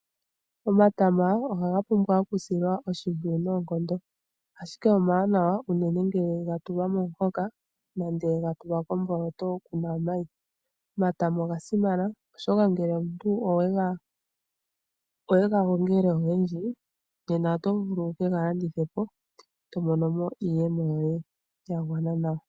Omatama ohaga pumbwa okusilwa oshimpwiyu noonkondo, ashike omawanawa unene ngele ga tulwa momuhoka nenge ga tulwa komboloto ku na omayi. Omatama oga simana, oshoka ngele omuntu owe ga gongele ogendji nena oto vulu wu ke ga landithe po e to mono mo iiyemo yoye ya gwana nawa.